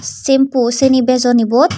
shampoo syeni bejon ibot.